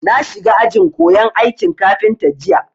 Na shiga ajin koyan aikin kafinta jiya